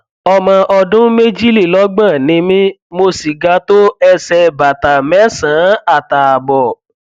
ọmọ ọdún méjìlélọgbọn ni mí mo sì ga tó ẹsẹ bàtà mẹsànán àtààbọ